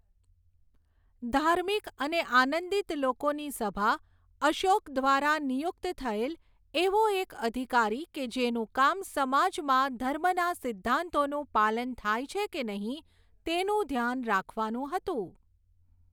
ધાર્મિક અને આનંદિત લોકોની સભા અશોક ધ્વારા નિયુક્ત થયેલ એવો એક અધિકારી કે જેનું કામ સમાજમાં ધર્મના સિદ્ધાંતોનું પાલન થાય છે કે નહી તેનું ધ્યાન રાખવાનું હતું.